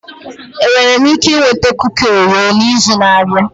Enwere m ike ịnweta kuki Orio n'izu na-abịa?